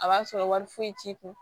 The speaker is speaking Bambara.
A b'a sɔrɔ wari foyi t'i kun